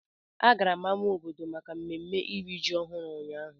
A gara m ámá obodo maka mmemme iri ji ọhụrụ ụnyahụ.